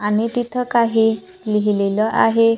आणि तिथं काही लिहिलेलं आहे.